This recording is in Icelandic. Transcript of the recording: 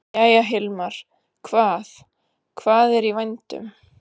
Jæja, Hilmar, hvað, hvað er í vændum?